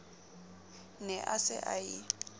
ne a se a e